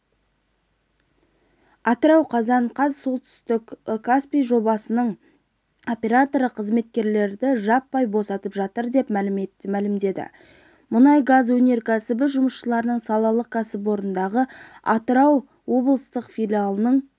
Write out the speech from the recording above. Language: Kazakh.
атырау қазан қаз солтүстік каспий жобасының операторы қызметкерлерді жаппай босатып жатыр деп мәлімдеді мұнай-газ өнеркәсібі жұмысшыларының салалық кәсіподағы атырау облыстық филиалының